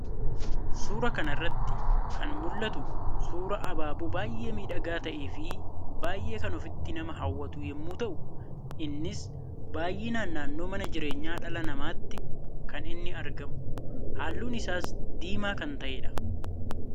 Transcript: Suuraa kana irratti kan mul'atu, suuraa ababoo baayyee miidhagaa ta'ee fi baayyee kan ofitti nama hawwatu yemmuu ta'u, innis baayyinaan naannoo mana jireenyaa dhala namaatti kan inni argamu. Halluun isaas diimaa kan ta'edha.